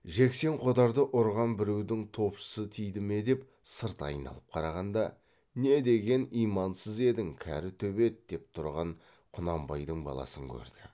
жексен қодарды ұрған біреудің топшысы тиді ме деп сырт айналып қарағанда не деген имансыз едің кәрі төбет деп тұрған құнанбайдың баласын көрді